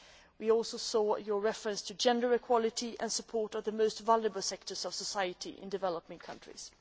We also saw your reference to gender equality and support for the most vulnerable sectors of society in developing countries.